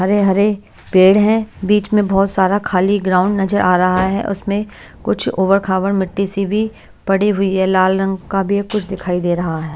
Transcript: हरे हरे पेड़ हैं बीच में बहुत सारा खाली ग्राउंड नजर आ रहा है उसमें कुछ उबर खाबर मिट्टी सी भी पड़ी हुई है लाल रंग का भी कुछ दिखाई दे रहा है।